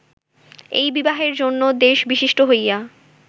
এই বিবাহের জন্য দ্বেষবিশিষ্ট হইয়া